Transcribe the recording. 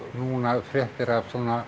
núna fréttir af